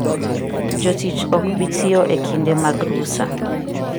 Jotich ok bi tiyo e kinde mag rusa.